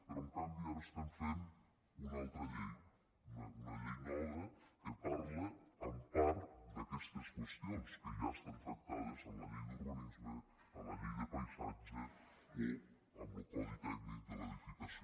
però en canvi ara estem fent una altra llei una llei nova que parla en part d’aquestes qüestions que ja estan tractades en la llei d’urbanisme en la llei de paisatge o en lo codi tècnic de l’edificació